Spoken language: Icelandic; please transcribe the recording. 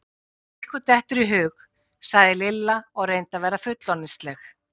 Það sem ykkur dettur í hug! sagði Lilla og reyndi að vera fullorðinsleg.